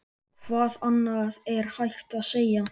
Hvað annað er hægt að segja?